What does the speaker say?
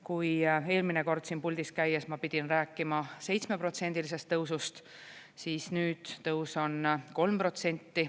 Kui eelmine kord siin puldis käies ma pidin rääkima 7%-lisest tõusust, siis nüüd tõus on 3%.